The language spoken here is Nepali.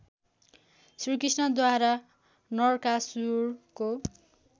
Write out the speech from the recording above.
श्रीकृष्णद्वारा नरकासुरको